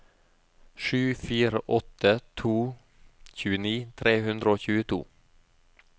sju fire åtte to tjueni tre hundre og tjueto